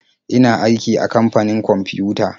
Ina aiki a kamfanin kwamfiyuta.